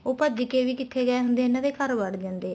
ਉਹ ਭੱਜ ਕੇ ਵੀ ਕਿੱਥੇ ਗਏ ਹੁੰਦੇ ਆ ਇੰਨੇ ਦੇ ਘਰ ਵੜ ਜਾਂਦੇ ਆ